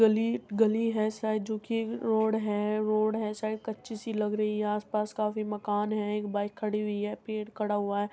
गली गली है शायद जो कि रोड है रोड है शायद कच्ची सी लग रही है। आस पास काफी मकान है एक बाइक खड़ी हुई है पेड़ खड़ा हुआ है।